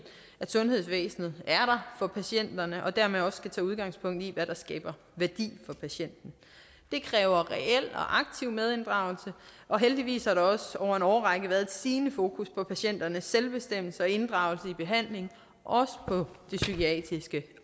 at sundhedsvæsenet er der for patienterne og dermed også skal tage udgangspunkt i hvad der skaber værdi for patienten det kræver reel og aktiv medinddragelse og heldigvis har der også over en årrække været et stigende fokus på patienternes selvbestemmelse og inddragelse i behandlingen også på det psykiatriske